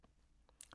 DR1